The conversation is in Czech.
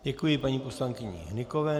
Děkuji paní poslankyni Hnykové.